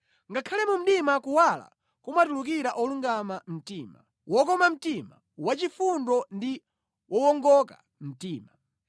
Ngakhale mu mdima kuwala kumatulukira olungama mtima; wokoma mtima, wachifundo ndi wowongoka mtima.